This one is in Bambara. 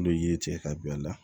N'olu ye cɛ ka don a la